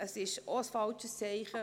Diese wäre auch ein falsches Zeichen.